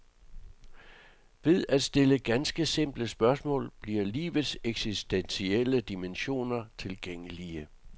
Ved at stille ganske simple spørgsmål bliver livets eksistentielle dimensioner tilgængelige.